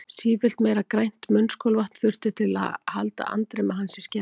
Sífellt meira grænt munnskolvatn þurfti til að halda andremmu hans í skefjum.